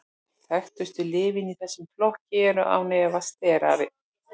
þekktustu lyfin í þessum flokki eru án efa sterarnir